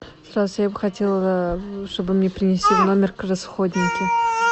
здравствуйте я бы хотела чтобы мне принесли в номер расходники